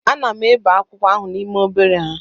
Ana m ebe akwụkwọ ahụ n'ime obere nha